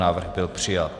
Návrh byl přijat.